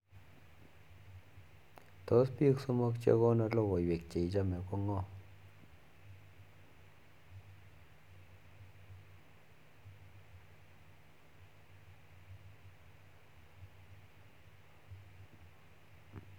Tos piik somok chee konin logoywek che chechamee koo ngoo